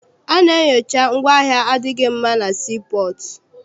A na-enyocha ngwaahịa adịghị mma na sii pọọtụ.